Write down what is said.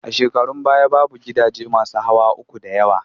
A shekarun baya, babu gidaje masu hawa uku da yawa